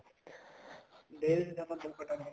ਦੇਖਦੇ ਹਾਂ